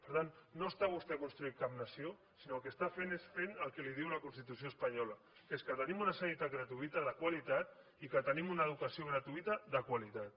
per tant no està vostè construint cap nació sinó que el que està fent és fer el que li diu la constitució espanyola que és que tenim una sanitat gratuïta de qualitat i que tenim una educació gratuïta de qualitat